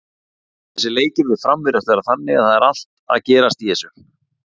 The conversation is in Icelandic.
Þessir leikir við Fram virðast vera þannig að það er allt að gerast í þessu.